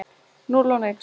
Núll og nix.